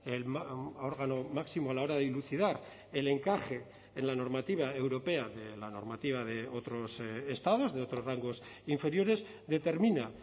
el órgano máximo a la hora de dilucidar el encaje en la normativa europea de la normativa de otros estados de otros rangos inferiores determina